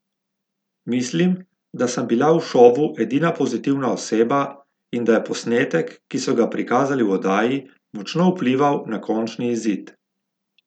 Mislim, da sem bila v šovu edina pozitivna oseba in da je posnetek, ki so ga prikazali v oddaji, močno vplival na končni izid.